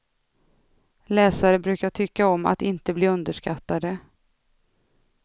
Läsare brukar tycka om att inte bli underskattade.